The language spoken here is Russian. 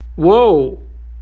оу